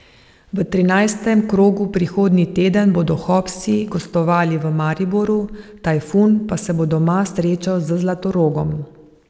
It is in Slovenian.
V trinajstem krogu prihodnji teden bodo Hopsi gostovali v Mariboru, Tajfun pa se bo doma srečal z Zlatorogom.